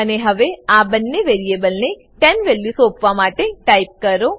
અને હવે આ બંને વેરીએબલને 10 વેલ્યુ સોપોવા માટે ટાઈપ કરો